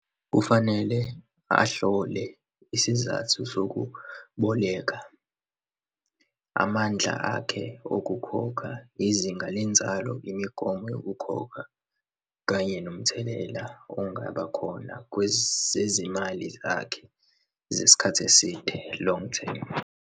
Kufanele ahlole isizathu sokuboleka, amandla akhe okukhokha, izinga lenzalo, imigomo yokukhokha, kanye nomthelela ongabakhona kwezezimali zakhe zesikhathi eside, long-term.